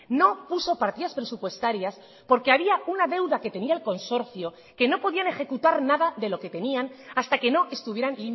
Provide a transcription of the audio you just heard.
no puso partidas presupuestarias porque había una deuda que tenía el consorcio que no podían ejecutar nada de lo que tenían hasta que no estuvieran